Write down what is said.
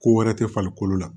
Ko wɛrɛ tɛ farikolo la